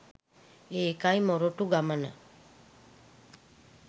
ඒකයි මොරටු ගමන